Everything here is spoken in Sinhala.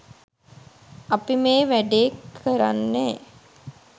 අපි මේ වැඩේ කරන්නේ